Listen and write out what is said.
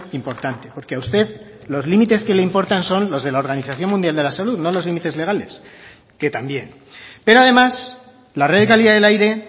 importante porque a usted los límites que le importan son los de la organización mundial de la salud no los límites legales que también pero además la red de calidad del aire